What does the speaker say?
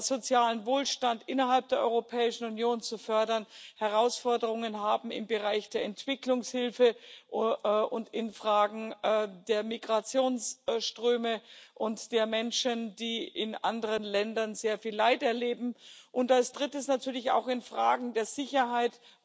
sozialem Wohlstand innerhalb der Europäischen Union, dann Herausforderungen im Bereich der Entwicklungshilfe und in Fragen der Migrationsströme und der Menschen, die in anderen Ländern sehr viel Leid erleben, und als drittes natürlich auch Fragen der Sicherheit,